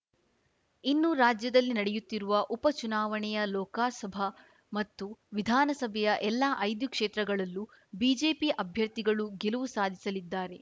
ಇನ್ನು ರಾಜ್ಯದಲ್ಲಿ ನಡೆಯುತ್ತಿರುವ ಉಪ ಚುನಾವಣೆಯ ಲೋಕಸಭಾ ಮತ್ತು ವಿಧಾನಸಭೆಯ ಎಲ್ಲ ಐದು ಕ್ಷೇತ್ರಗಳಲ್ಲೂ ಬಿಜೆಪಿ ಅಭ್ಯರ್ಥಿಗಳು ಗೆಲುವು ಸಾಧಿಸಲಿದ್ದಾರೆ